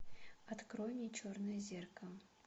открой мне черное зеркало